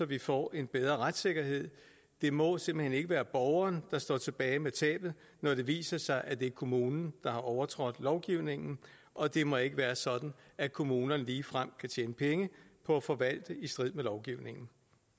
vi får en bedre retssikkerhed det må simpelt hen ikke være borgeren der står tilbage med tabet når det viser sig at det er kommunen der har overtrådt lovgivningen og det må ikke være sådan at kommunerne ligefrem kan tjene penge på at forvalte i strid med lovgivningen